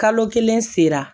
Kalo kelen sera